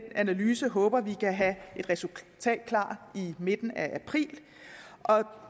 analyse håber vi kan have et resultat klar i midten af april og